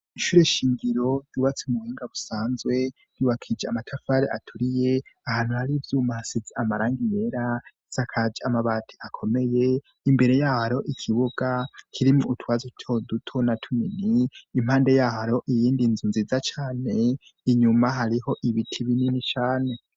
Ishure shingiro ryubatse ku buhinga busanzwe, ryubakishije amatafari aturiye, ahantu hari ivyuma hasize amarangi yera, isakaje amabati akomeye. Imbere y'ahari ikibuga, kirimwo utwatsi dutoduto na tumini impande y'ahariho iyindi nzu nziza cane, inyuma hariho ibiti binini cane.